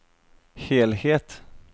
helhet